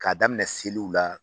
K'a daminɛ seliw la